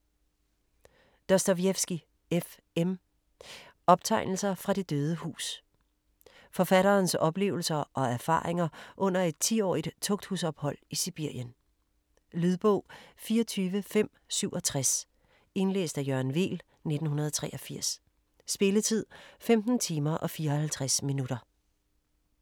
Dostojevskij, F. M.: Optegnelser fra det døde hus Forfatterens oplevelser og erfaringer under et 10-årigt tugthusophold i Sibirien. Lydbog 24567 Indlæst af Jørgen Weel, 1983. Spilletid: 15 timer, 54 minutter.